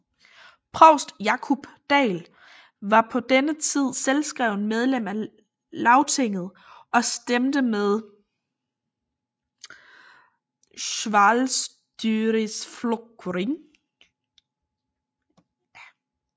Provst Jákup Dahl var på denne tid selvskrevent medlem af Lagtinget og stemte med Sjálvstýrisflokkurin